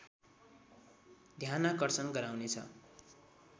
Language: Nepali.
ध्यानाकर्षण गराउनेछ